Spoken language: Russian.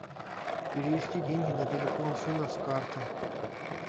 перевести деньги на телефон сына с карты